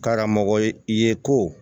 Karamɔgɔ ye ko